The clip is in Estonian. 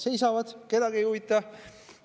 Seisavad, kedagi ei huvita.